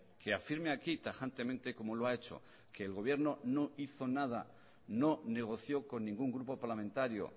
que afirme aquí tajantemente como lo ha hecho que el gobierno no hizo nada no negoció con ningún grupo parlamentario